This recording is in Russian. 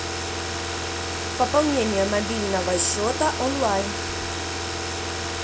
пополнение мобильного счета онлайн